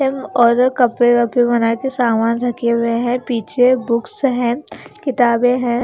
और कपडे रखे हुए है की सामान रखे हुए है पीछे बुक्स है किताबे है।